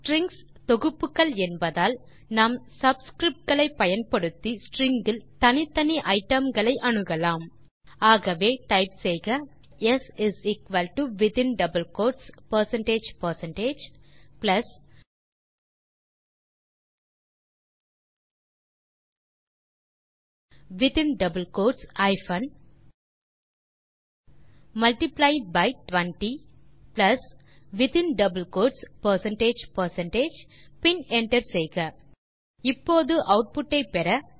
strings தொகுப்புகள் என்பதால் நாம் சப்ஸ்கிரிப்ட் களை பயன்படுத்தி ஸ்ட்ரிங் இல் தனித்தனி ஐட்டம்களை அணுகலாம் ஆகவே டைப் செய்க s within double quotes percentage percentage plus within double quotes hyphen multiply by 20 plus within double quotes percentage percentage பின் என்டர் செய்க இப்போது ஆட்புட் ஐ பெற